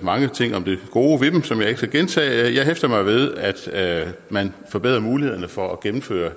mange ting om det gode ved dem som jeg ikke skal gentage jeg hæfter mig ved at man forbedrer mulighederne for at gennemføre